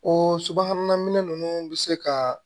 O subahana minɛn ninnu bɛ se ka